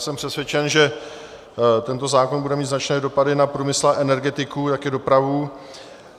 Jsem přesvědčen, že tento zákon bude mít značné dopady na průmysl a energetiku, taky dopravu.